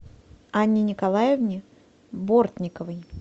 анне николаевне бортниковой